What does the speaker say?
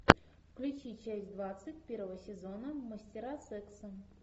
включи часть двадцать первого сезона мастера секса